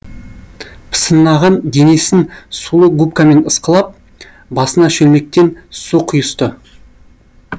пысынаған денесін сулы губкамен ысқылап басына шөлмектен су құйысты